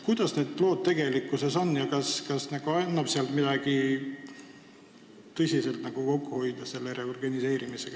Kuidas need lood tegelikkuses on ja kas annab selle reorganiseerimisega midagi tõsiselt kokku hoida?